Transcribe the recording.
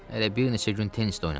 Hələ bir neçə gün tennis də oynadım.